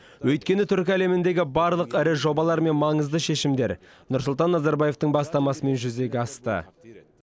өйткені түркі әлеміндегі барлық ірі жобалар мен маңызды шешімдер нұрсұлтан назарбаевтың бастамасымен жүзеге асты